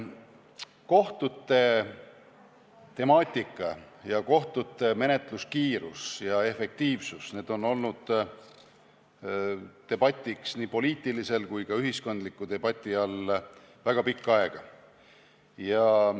Kohtute temaatika, sealhulgas kohtute menetluskiirus ja efektiivsus on olnud nii poliitilise kui ka ühiskondliku debati küsimused väga pikka aega.